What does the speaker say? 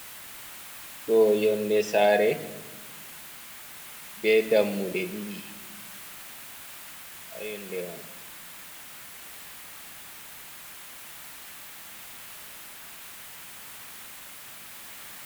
Ɗoo yonnde saare bee dammuɗe ɗiɗi haa yonnde may.